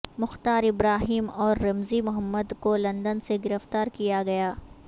مختار Ibrahim اور Ramzi Mohammed کو London سے گرفتار کیا گیا